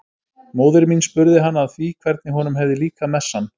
Móðir mín spurði hann að því hvernig honum hefði líkað messan.